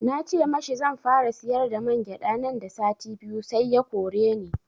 Na ce mashi zanfara siyar da mangyaɗa nan da sati biyu sai ya koreni